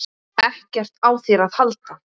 EKKERT Á ÞÉR AÐ HALDA!